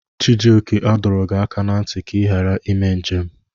Chijioke, a dọrọ gị aka na ntị ka ị ghara ime njem!